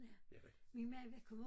Ja min mand var kommet